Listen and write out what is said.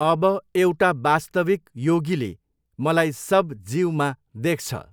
अब एउटा वास्तविक योगीले मलाई सब जीवमा देख्छ।